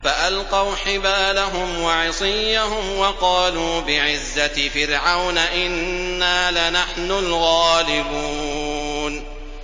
فَأَلْقَوْا حِبَالَهُمْ وَعِصِيَّهُمْ وَقَالُوا بِعِزَّةِ فِرْعَوْنَ إِنَّا لَنَحْنُ الْغَالِبُونَ